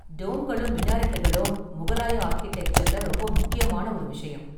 டோம்களும் மினாரெட்டுகளும் முகலாய ஆர்க்கிடெக்சர்ல ரொம்ப முக்கியமான ஒரு விஷயம்.